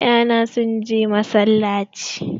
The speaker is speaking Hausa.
Ya'ya na sun je masallaci.